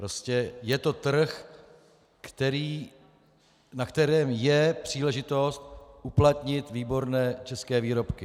Prostě je to trh, na kterém je příležitost uplatnit výborné české výrobky.